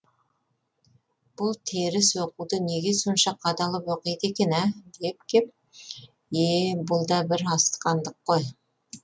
бұл теріс оқуды неге сонша қадалып оқиды екен ә деп кеп е бұл да бір асқандық қой